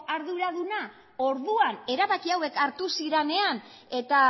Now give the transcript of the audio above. arduraduna orduan erabaki hauek hartu zirenean eta